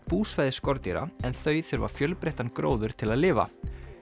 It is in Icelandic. búsvæði skordýra en þau þurfa fjölbreyttan gróður til að lifa